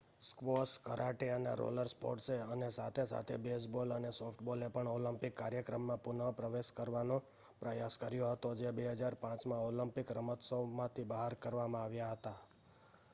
squash karate અને roller સ્પોર્ટ્સે અનેસાથે-સાથે બેઝબોલ અને સોફ્ટબોલે પણ ઓલિમ્પિક કાર્યક્રમમાં પુનઃપ્રવેશ કરવાનો પ્રયાસ કર્યો હતો જે 2005માં ઓલિમ્પિકરમતોત્સવમાંથી બહાર કરવામાં આવ્યા હતા